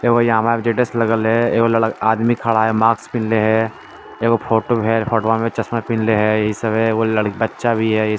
status लगल है आदमी खड़ा है मास्क पहनले है एगो फोटो है फोटवा में चश्मा पहनल्ले है बच्चा भी है